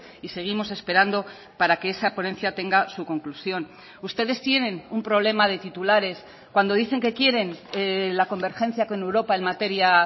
y seguimos esperando para que esa ponencia tenga su conclusión ustedes tienen un problema de titulares cuando dicen que quieren la convergencia con europa en materia